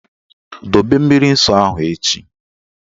Dobe mmiri nsọ ahụ echi!